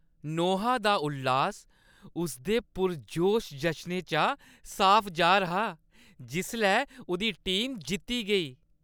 नोहा दा उल्लास उसदे पुरजोश जशनै चा साफ जाह्‌र हा जिसलै उʼदी टीम जित्ती गेई।